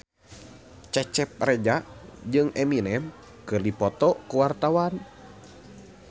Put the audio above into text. Cecep Reza jeung Eminem keur dipoto ku wartawan